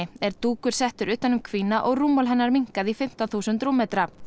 er dúkur settur utan um og rúmmál hennar minnkað í fimmtán þúsund rúmmetra